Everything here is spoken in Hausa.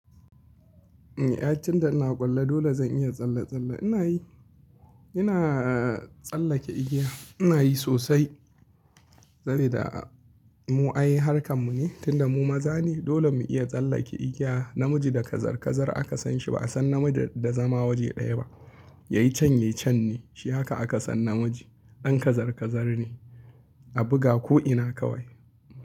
Ai tunda ina ƙullo dole zan iya tsalle-tsalle. Ina yi, ina tsallake igiya ina yi sosai. Saboda mu ai harkan mu ne tunda mu maza ne dole mu iya tsallake igiya. Namiji da kazar-kazar aka san shi ba'a san namiji da zama waje ɗaya ba. Yayi can yayi can ne shi haka aka san namiji. Dan kazar-kazar ne a buga ko ina kawai.